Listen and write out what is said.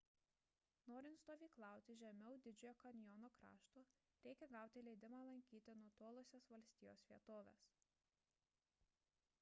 norint stovyklauti žemiau didžiojo kanjono krašto reikia gauti leidimą lankyti nutolusias valstijos vietoves